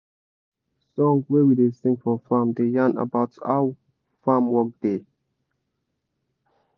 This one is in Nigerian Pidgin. song wey we da sing for farm da yan about about how farm work da